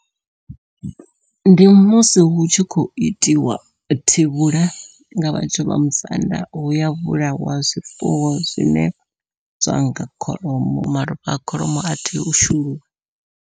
Ndi musi hu tshi khou itiwa thivhula nga vhathu vha musanda huya vhulawa zwifuwo zwine zwanga kholomo, malofha a kholomo a tea u shuluwa.